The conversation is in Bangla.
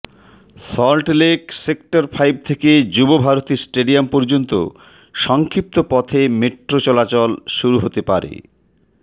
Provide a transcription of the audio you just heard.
সল্টলেক সেক্টর ফাইভ থেকে যুবভারতী স্টেডিয়াম পর্যন্ত সংক্ষিপ্ত পথে মেট্রো চলাচল শুরু হতে পারে